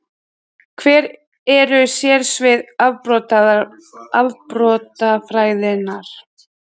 Hver eru sérsvið afbrotafræðinnar?